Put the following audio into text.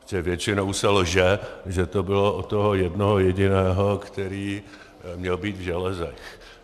Protože většinou se lže, že to bylo o toho jednoho jediného, který měl být v železech.